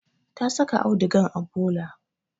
Ta saka audugan a bola